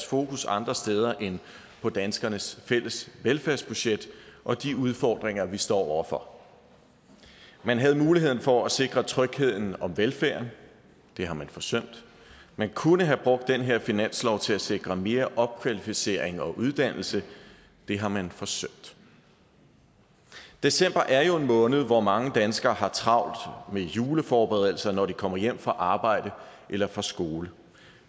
fokus andre steder end på danskernes fælles velfærdsbudget og de udfordringer vi står over for man havde muligheden for at sikre trygheden og velfærden det har man forsømt man kunne have brugt den her finanslov til at sikre mere opkvalificering og uddannelse det har man forsømt december er jo en måned hvor mange danskere har travlt med juleforberedelser når de kommer hjem fra arbejde eller fra skole